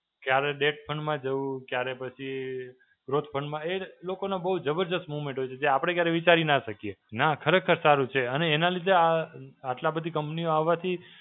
ક્યારે depth માં જવું, ક્યારે પછી growth માં, એ લોકોનો બહું જબરદસ્ત moment હોય છે. જે આપડે ક્યારે વિચારી ના શકીએ. ના ખરેખર સારું છે અને એના લીધે આ આટલા બધી company ઓ હોવાથી